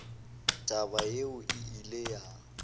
taba yeo e ile ya